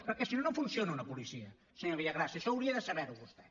perquè si no no funciona una policia senyor villagrasa això hauria de saber ho vostè